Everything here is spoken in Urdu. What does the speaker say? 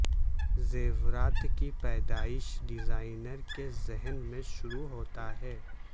زیورات کی پیدائش ڈیزائنر کے ذہن میں شروع ہوتا ہے